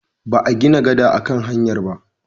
Ba a gina gada a kan hanyar ba.